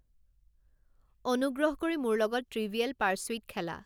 অনুগ্ৰহ কৰি মোৰ লগত ট্ৰিভিয়েল পাৰ্সুইট খেলা